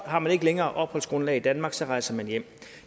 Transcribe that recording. har man ikke længere et opholdsgrundlag i danmark og så rejser med hjem